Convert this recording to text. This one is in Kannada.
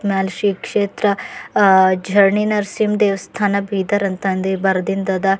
ಮೇಲ್ ಶೀ ಕ್ಷೇತ್ರ ಆ ಝರಣಿ ನರಸಿಂಹ ದೇವಸ್ಥಾನ ಬೀದರ್ ಅಂತ ಅಲ್ಲಿ ಬರೆದಿಂದದ.